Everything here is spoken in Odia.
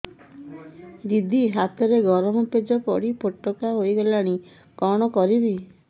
ଦିଦି ହାତରେ ଗରମ ପେଜ ପଡି ଫୋଟକା ହୋଇଗଲା କଣ କରିବି